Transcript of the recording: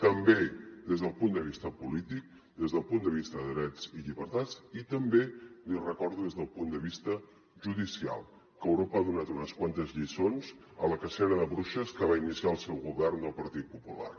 també des del punt de vista polític des del punt de vista de drets i llibertats i també l’hi recordo des del punt de vista judicial que europa ha donat unes quantes lliçons a la cacera de bruixes que va iniciar el seu govern del partit popular